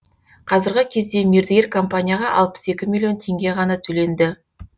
қазіргі кезде мердігер компанияға алпыс екі миллион теңге ғана төленді